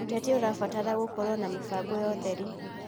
ũteti ũrabatara gũkorwo na mĩbango ya ũtheri.